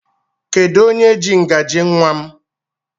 Kedụ onye jị ngaji nnwa m?